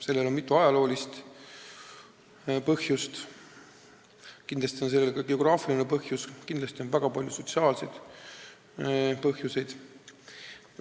Sellel on mitu ajaloolist põhjust, kindlasti on sellel ka geograafiline põhjus, väga palju on sotsiaalseid põhjuseid.